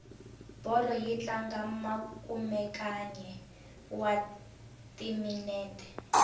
bolo yi tlanga makumenkaye wa timinete